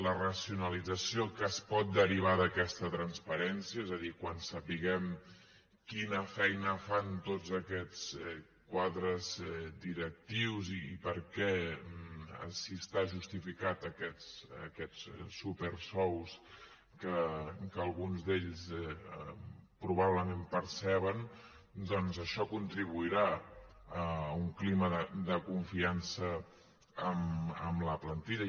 la racionalització que es pot derivar d’aquesta transparència és a dir quan sapiguem quina feina fan tots aquests quadres directius i per què si estan justificats aquests supersous que alguns d’ells probablement perceben doncs això contribuirà a un clima de confiança amb la plantilla